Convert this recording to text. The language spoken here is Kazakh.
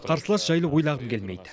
қарсылас жайлы ойлағым келмейді